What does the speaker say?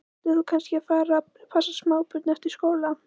Ætlar þú kannski að fara að passa smábörn eftir skóla?